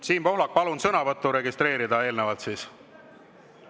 Siim Pohlak, palun sõnavõtt registreerida eelnevalt siis!